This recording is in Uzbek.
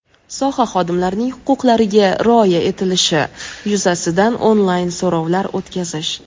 soha xodimlarining huquqlariga rioya etilishi yuzasidan onlayn so‘rovlar o‘tkazish;.